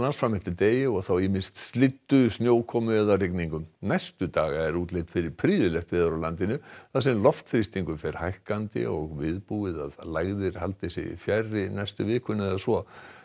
fram eftir degi og þá ýmist slyddu snjókomu eða rigningu næstu daga er útlit fyrir prýðilegt veður á landinu þar sem loftþrýstingur fer hækkandi og viðbúið að lægðir haldi sig fjarri næstu vikuna eða svo